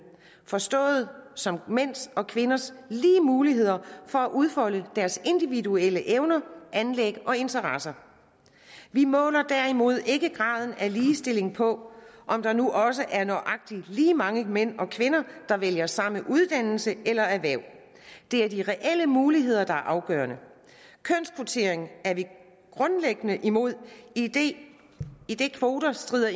forstået som mænd og kvinders lige muligheder for at udfolde deres individuelle evner anlæg og interesser vi måler derimod ikke graden af ligestilling på om der nu også er nøjagtig lige mange mænd og kvinder der vælger samme uddannelse eller erhverv det er de reelle muligheder der er afgørende kønskvotering er vi grundlæggende imod idet idet kvoter strider